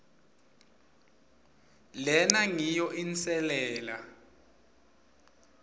lena ngiyo inselela